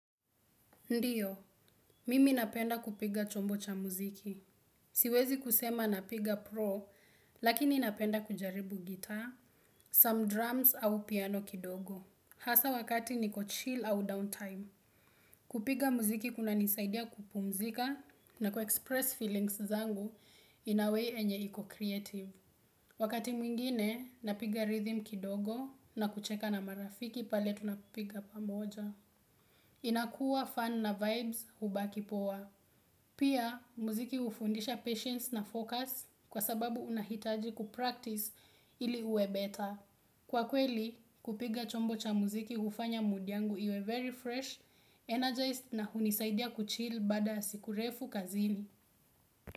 Ndiyo, mimi napenda kupiga chombo cha muziki. Siwezi kusema napiga pro, lakini napenda kujaribu gitaa, some drums au piano kidogo. Hasa wakati niko chill au downtime. Kupiga muziki kunanisaidia kupumzika na kuexpress feelings zangu in a way enye iko creative. Wakati mwingine, napiga rhythm kidogo na kucheka na marafiki pale tunapiga pamoja. Inakua fun na vibes hubaki poa. Pia, muziki ufundisha patience na focus kwa sababu unahitaji kupractice ili uwe better. Kwa kweli, kupiga chombo cha muziki hufanya mood yangu iwe very fresh, energized na hunisaidia kuchill baada ya siku refu kazini.